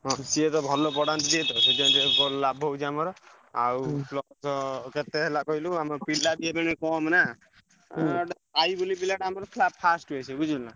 ହଁ ସିଏ ତ ଭଲ ପଢାନ୍ତି ଯେହେତୁ ତ ଲାଭ ହଉଚି ଆମର ଆଉ plus କେତେ ହେଲା କହିଲୁ ଆମ ପିଲାବି ଏବେବି କମ୍ ନା ସାଇ ବେଲି ପିଲାଟା ଆମର ଥିଲା first ହୁଏ ସେ ବୁଝିଲୁ ନା।